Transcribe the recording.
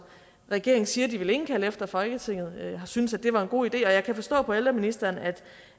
regeringen siger de vil indkalde til eftersom folketinget har syntes at det var en god idé og jeg kan forstå på ældreministeren